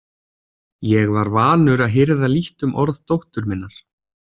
Ég var vanur að hirða lítt um orð dóttur minnar.